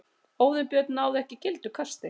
Óðinn Björn náði ekki gildu kasti